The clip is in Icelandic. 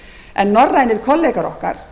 en norrænir kollegar okkar